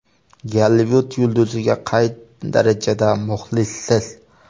Gollivud yulduziga qay darajada muxlissiz?.